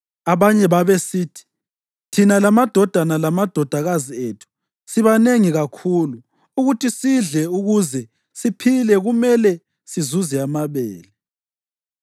Abanye babesithi, “Thina lamadodana lamadodakazi ethu sibanengi kakhulu; ukuthi sidle ukuze siphile kumele sizuze amabele.”